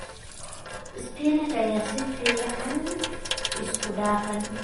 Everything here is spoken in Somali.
Spinach ayaa si fiican isku dhafan.